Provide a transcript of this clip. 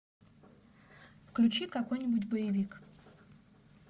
включи какой нибудь боевик